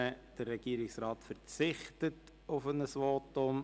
Der Regierungsrat verzichtet auf ein Votum.